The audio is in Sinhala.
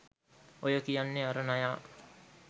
ඔය කියන්නේ අර නයා